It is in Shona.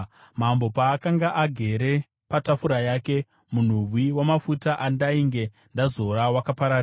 Mambo paakanga agere patafura yake, munhuwi wamafuta andainge ndazora wakapararira.